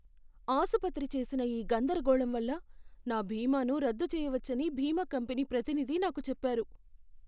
ఆసుపత్రి చేసిన ఈ గందరగోళం వల్ల, నా బీమాను రద్దు చేయవచ్చని బీమా కంపెనీ ప్రతినిధి నాకు చెప్పారు.